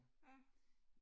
Ja